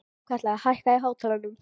Hrafnkatla, hækkaðu í hátalaranum.